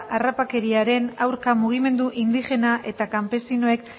harrapakeriaren aurka mugimendu indigena eta kanpesinoek